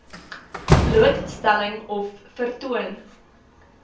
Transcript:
blootstelling of vertoon